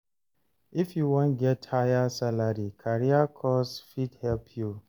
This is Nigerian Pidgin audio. If you wan get higher salary, career course fit help you.